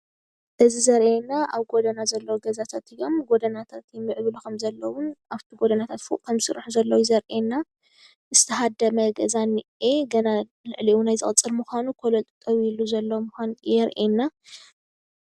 እዚ ዘሪአና ኣብ ጎደና ዘለዉ ገዛታት እዮም:: ጎደናታት ይምዕብሉ ከምዘለውን ኣብቲ ጎደናታት ፎቅ ከም ዝስርሑ ዘለዉ እዩ ዘሪአና ዝተሃደመ ገዛ እንኤ ገና ልዕሊኡ እዉን ዝቅፅል ምኳኑ ኮለን ጠጠዉ ዘሎ ምኳኑ የርእየና::